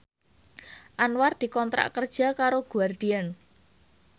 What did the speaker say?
Anwar dikontrak kerja karo Guardian